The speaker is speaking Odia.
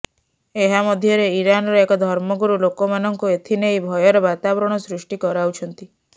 ଏହା ମଧ୍ୟରେ ଇରାନର ଏକ ଧର୍ମଗୁରୁ ଲୋକମାନଙ୍କୁ ଏଥିନେଇ ଭୟର ବାତାବରଣ ସୃଷ୍ଟି କରାଉଛନ୍ତି